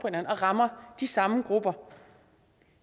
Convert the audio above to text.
rammer de samme grupper